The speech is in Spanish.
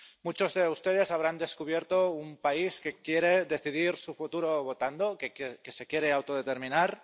Muchos de ustedes habrán descubierto un país que quiere decidir su futuro votando, que se quiere autodeterminar